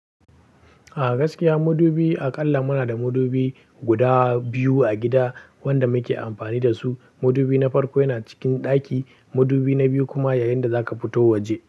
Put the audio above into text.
A gaskiya madubi, aƙalla muna da madubi guda biyu a gida wanda muke amfani da su. Madubi na farko yana cikin ɗaki, madubi na biyu kuma yayin da zaka fito waje.